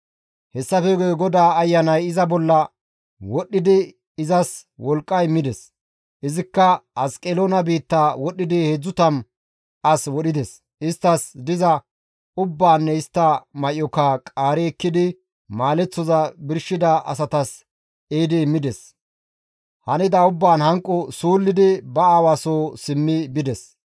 Hessafe guye GODAA Ayanay iza bolla wodhdhidi izas wolqqa immides; izikka Asqeloona biitta wodhdhidi 30 as wodhides; isttas diza ubbaanne istta may7oka qaari ekkidi maaleththoza birshida asatas ehidi immides. Hanida ubbaan hanqo suullidi ba aawa soo simmi bides.